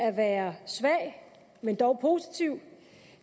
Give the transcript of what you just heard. at være svag men dog positiv